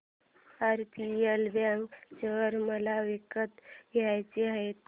RBL bank share मला विकत घ्यायचे आहेत